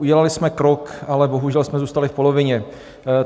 Udělali jsme krok, ale bohužel jsme zůstali v polovině.